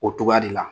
O cogoya de la